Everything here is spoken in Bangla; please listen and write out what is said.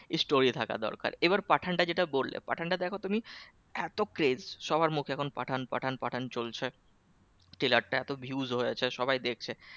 Story থাকা দরকার এবার পাঠান টা যেটা বললে পাঠান টা দেখো তুমি এত grace সবার মধ্যে এখন পাঠান পাঠান পাঠান চলছে trailer টা এত views হয়েছে সবাই দেখছে